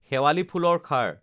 শেৱালী ফুলৰ খাৰ